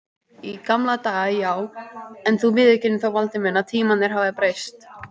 Í gamla daga já, en þú viðurkennir þó Valdi minn að tímarnir hafa breyst.